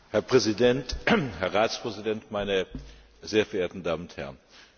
Herr Präsident, Herr Ratspräsident, meine sehr verehrten Damen und Herren!